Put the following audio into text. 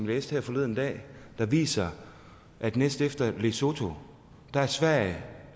læste her forleden dag viser at næst efter lesotho er sverige